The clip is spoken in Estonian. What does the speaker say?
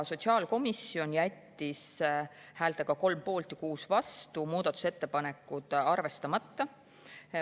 Sotsiaalkomisjon jättis häältega 3 poolt ja 6 vastu muudatusettepanekud arvestamata.